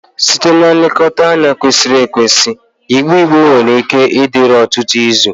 Site na nlekọta kwesịrị ekwesị, igbe igbe nwere ike ịdịru ọtụtụ izu.